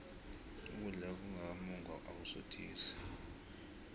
ukudla okungaka mungwa akusuthisi